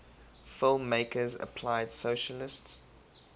filmmakers applied socialist